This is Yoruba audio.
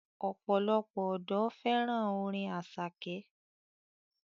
Ọ̀pọ̀lọpọ̀ ọ̀dọ́ fẹ́ràn orin Àṣàkẹ́.